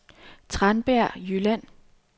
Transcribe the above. Tranbjerg Jylland